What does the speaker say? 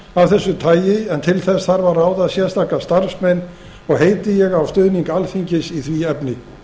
af þessu tagi en til þess þarf að ráða sérstaka starfsmenn heiti ég á stuðning alþingis í því efni